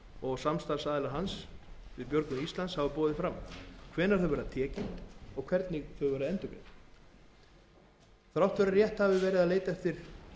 og samstarfsaðilar hans við björgun íslands hafa boðið fram hvenær þau verði tekin og hvernig þau verði endurgreidd þrátt fyrir að rétt hafi verið að leita eftir